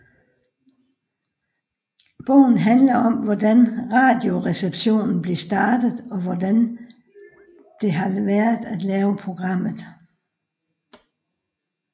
Bogen handler om hvordan Radioresepsjonen blev startet og hvordan det har været at lave programmet